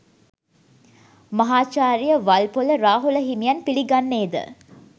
මහාචාර්ය වල්පොල රාහුල හිමියන් පිළිගන්නේ ද